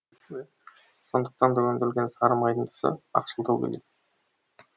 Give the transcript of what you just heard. сондықтан да өндірілген сары майдың түсі ақшылдау келеді